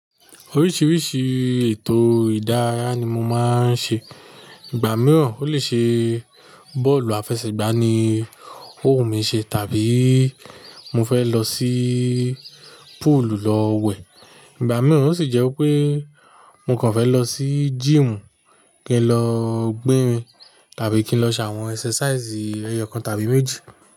Oríṣiríṣi ètò ìdárayá ni mo máa ń ṣe. Ìgbà mìíràn ó lè ṣe bọ́ọ̀lù àfẹsẹ̀gbá ni ó wù mi ṣe tàbí mo fẹ́ lọ sí púùlù lọ wẹ̀. Ìgbà mìíràn ó sì jẹ́ pé mo kàn fẹ́ lọ sí gym kí n lọ gbérin tàbí kí n lọ ṣe àwọn exercises ẹyọkan tàbí méjì.